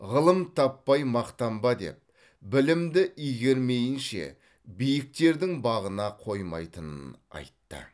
ғылым таппай мақтанба деп білімді игермейінше биіктердің бағына қоймайтынын айтты